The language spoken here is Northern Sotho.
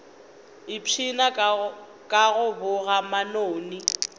ipshina ka go boga manoni